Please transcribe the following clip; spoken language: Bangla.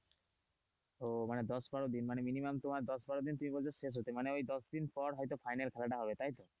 ওমানে দশ বারো দিন minimum তোমার দশ বারো দিন তুমি বলছো শেষ হতে মানে ওই দশ দিন পর হয়তো final খেলাটা হবে তাই তো,